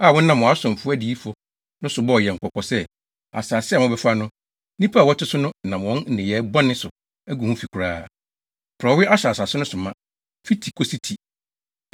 a wonam wʼasomfo adiyifo no so bɔɔ yɛn kɔkɔ sɛ, ‘Asase a mobɛfa no, nnipa a wɔte so no nam wɔn nneyɛe bɔne so agu ho fi koraa. Porɔwee ahyɛ asase no so ma, fi ti kosi ti.